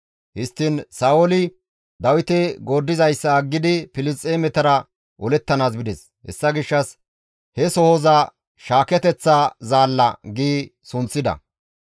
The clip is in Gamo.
Histtiin Sa7ooli Dawite gooddizayssa aggidi Filisxeemetara olettanaas bides; hessa gishshas he sohoza, «Shaaketeththa zaalla» gi sunththida.